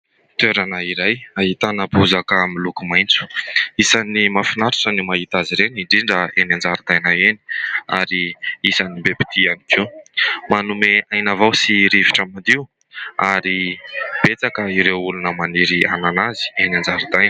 Toerana iray ahitana bozaka miloko maitso, isan'ny mahafinaritra ny mahita azy ireny indrindra eny an-jaridaina eny ary isan'ny be mpitia ihany koa. Manome aina vao sy rivotra madio ary betsaka ireo olona maniry hanana azy eny an-jaridaina.